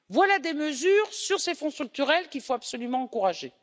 Voilà des mesures sur ces fonds structurels qu'il faut absolument encourager.